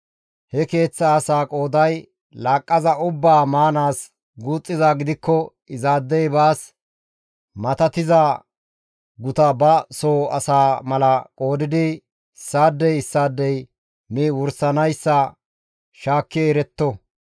He keeththa asaa qooday laaqqaza ubbaa maanaas guuxxizaa gidikko izaadey baas matattiza guta ba soo asaa mala qoodidi issaadey issaadey mi wursanayssa shaakki eretto.